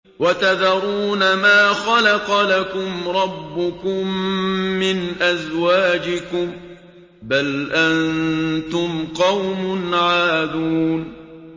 وَتَذَرُونَ مَا خَلَقَ لَكُمْ رَبُّكُم مِّنْ أَزْوَاجِكُم ۚ بَلْ أَنتُمْ قَوْمٌ عَادُونَ